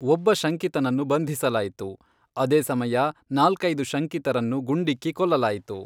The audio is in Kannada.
ಒಬ್ಬ ಶಂಕಿತನನ್ನು ಬಂಧಿಸಲಾಯಿತು, ಆದೇ ಸಮಯ ನಾಲ್ಕೈದು ಶಂಕಿತರನ್ನು ಗುಂಡಿಕ್ಕಿ ಕೊಲ್ಲಲಾಯಿತು.